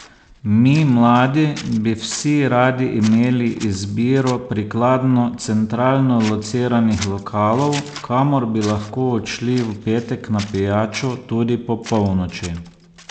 Mi, mladi, bi vsi radi imeli izbiro prikladno centralno lociranih lokalov, kamor bi lahko odšli v petek na pijačo tudi po polnoči.